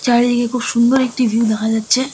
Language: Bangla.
চারিদিকে খুব সুন্দর একটি ভিউ দেখা যাচ্ছে ।